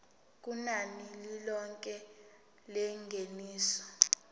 kunani lilonke lengeniso